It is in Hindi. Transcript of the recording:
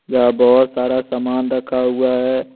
यहां बहुत सारा सामान रखा हुआ है।